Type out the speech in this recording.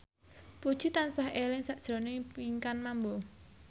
Puji tansah eling sakjroning Pinkan Mambo